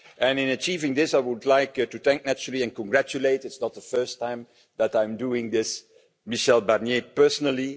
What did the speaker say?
In achieving this, I would like to thank, naturally, and congratulate it's not the first time that I'm doing this Michel Barnier personally.